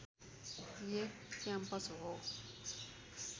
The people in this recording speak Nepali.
एक क्याम्पस हो